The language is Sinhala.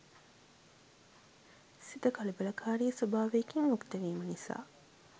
සිත කලබලකාරී ස්වභාවයකින් යුක්තවීම නිසා